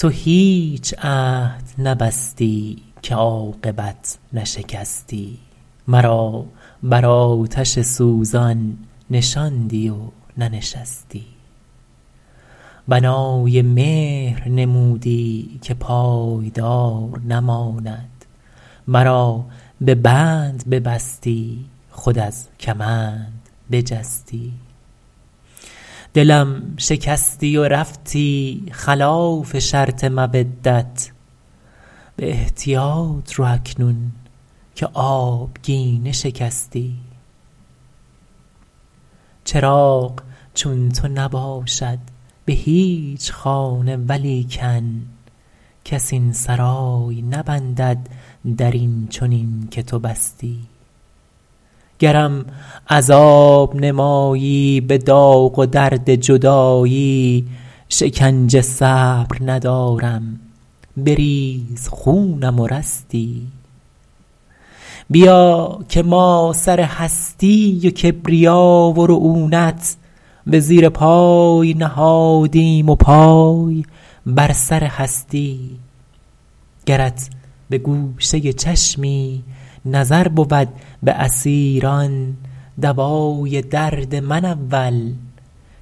تو هیچ عهد نبستی که عاقبت نشکستی مرا بر آتش سوزان نشاندی و ننشستی بنای مهر نمودی که پایدار نماند مرا به بند ببستی خود از کمند بجستی دلم شکستی و رفتی خلاف شرط مودت به احتیاط رو اکنون که آبگینه شکستی چراغ چون تو نباشد به هیچ خانه ولیکن کس این سرای نبندد در این چنین که تو بستی گرم عذاب نمایی به داغ و درد جدایی شکنجه صبر ندارم بریز خونم و رستی بیا که ما سر هستی و کبریا و رعونت به زیر پای نهادیم و پای بر سر هستی گرت به گوشه چشمی نظر بود به اسیران دوای درد من اول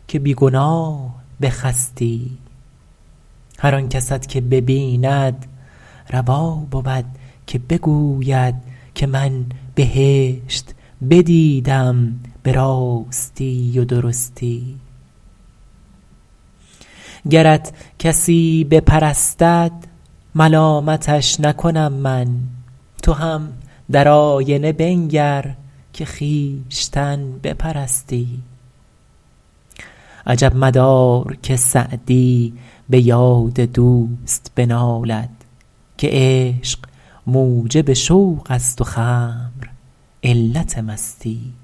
که بی گناه بخستی هر آن کست که ببیند روا بود که بگوید که من بهشت بدیدم به راستی و درستی گرت کسی بپرستد ملامتش نکنم من تو هم در آینه بنگر که خویشتن بپرستی عجب مدار که سعدی به یاد دوست بنالد که عشق موجب شوق است و خمر علت مستی